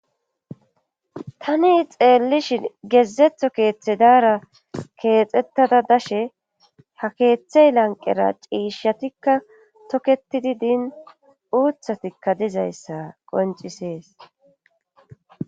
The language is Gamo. tani xeellishin gezzetho keethedara keexettada dashe ha keethe lanqqera ciishatikka tokettidi din uuththatikka dizayssa qonccises.